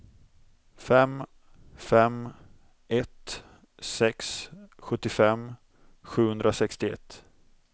fem fem ett sex sjuttiofem sjuhundrasextioett